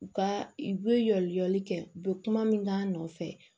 U ka u bɛ yɛlɛli kɛ u bɛ kuma min k'a nɔfɛ